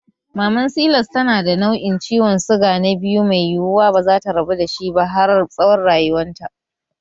Maman silas tana da nau'in ciwon suga na 2 mai yiwuwa bazata rabu dashi ba har tsawon rayuwanta